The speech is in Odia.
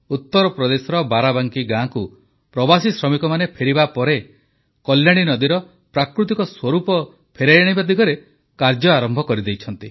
ଉତ୍ତରପ୍ରଦେଶର ବାରାବାଙ୍କୀ ଗାଁକୁ ପ୍ରବାସୀ ଶ୍ରମିକମାନେ ଫେରିବା ପରେ କଲ୍ୟାଣୀ ନଦୀର ପ୍ରାକୃତିକ ସ୍ୱରୂପ ଫେରାଇଆଣିବା ଦିଗରେ କାର୍ଯ୍ୟ ଆରମ୍ଭ କରିଦେଇଛନ୍ତି